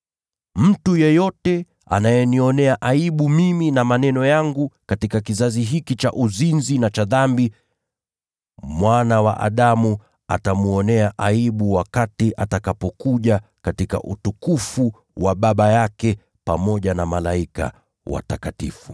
Mtu yeyote akinionea aibu mimi na maneno yangu katika kizazi hiki cha uzinzi na dhambi, Mwana wa Adamu naye atamwonea aibu wakati atakapokuja katika utukufu wa Baba yake pamoja na malaika watakatifu.”